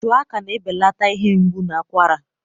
Shuwaka na-ebelata ihe mgbu na akwara.